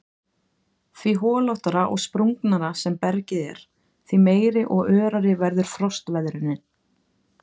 Því holóttara og sprungnara sem bergið er því meiri og örari verður frostveðrunin.